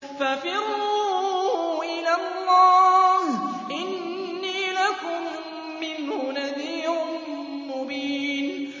فَفِرُّوا إِلَى اللَّهِ ۖ إِنِّي لَكُم مِّنْهُ نَذِيرٌ مُّبِينٌ